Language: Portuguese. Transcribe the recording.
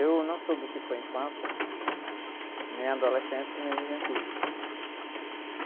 Eu não soube o que foi infância, né? Nem adolescência, nem juventude.